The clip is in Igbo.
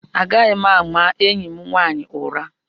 Agaghị m ama enyi m nwanyị ụra.